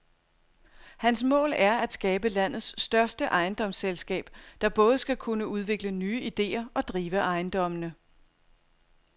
Hans mål er at skabe landets største ejendomsselskab, der både skal kunne udvikle nye idéer og drive ejendommene.